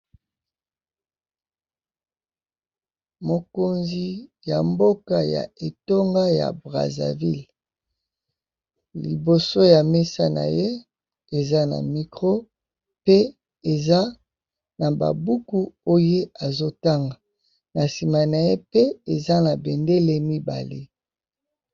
Mokonzi ya mboka ya etonga ya Brazzaville, liboso ya mesa na ye eza na micro pe eza na ba buku oyo azo tanga na nsima na ye pe eza na bendele mibale.